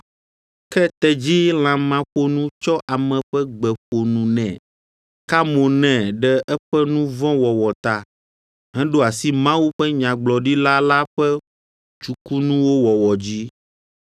Ke tedzi lãmaƒonu tsɔ ame ƒe gbe ƒo nu nɛ, ka mo nɛ ɖe eƒe nu vɔ̃ wɔwɔ ta, heɖo asi Mawu ƒe nyagblɔɖila la ƒe tsukunuwo wɔwɔ dzi.